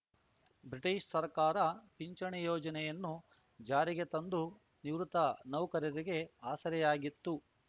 British ಸರ್ಕಾರ ಪಿಂಚಣಿ ಯೋಜನೆಯನ್ನು ಜಾರಿಗೆ ತಂದು ನಿವೃತ್ತ ನೌಕರರಿಗೆ ಆಸರೆಯಾಗಿತ್ತು